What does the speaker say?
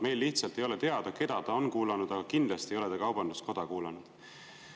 Meil lihtsalt ei ole teada, keda ta on kuulanud, aga kindlalt ei ole ta kaubanduskoda kuulanud.